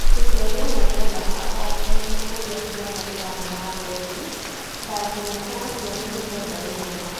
mũciari ũmwe ndendaga oo kũmenya ũrĩa ciana irathiĩ na mbere tu, ta nginya kana ciana nĩirenda gũthoma